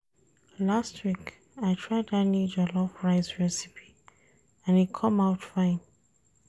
Last week, I try dat new jollof rice recipe and e come out fine.